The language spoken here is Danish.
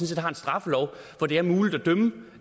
set har en straffelov hvor det er muligt at dømme